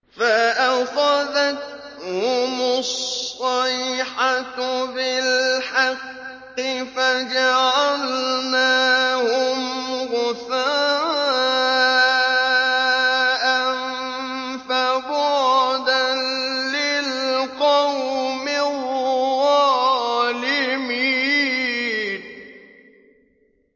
فَأَخَذَتْهُمُ الصَّيْحَةُ بِالْحَقِّ فَجَعَلْنَاهُمْ غُثَاءً ۚ فَبُعْدًا لِّلْقَوْمِ الظَّالِمِينَ